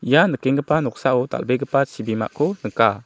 ia nikenggipa noksao dal·begipa chibimako nika.